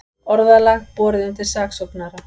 Orðalag borið undir saksóknara